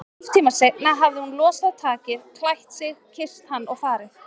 Hálftíma seinna hafði hún losað takið, klætt sig, kysst hann og farið.